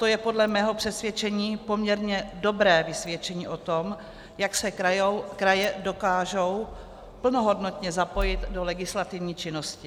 To je podle mého přesvědčení poměrně dobré vysvědčení o tom, jak se kraje dokážou plnohodnotně zapojit do legislativní činnosti.